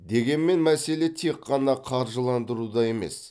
дегенмен мәселе тек қана қаржыландыруда емес